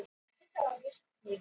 Hvað eru kristileg gildi?